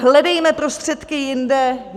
Hledejme prostředky jinde.